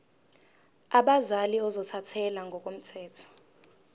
abazali ozothathele ngokomthetho